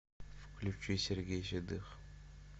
включи сергей седых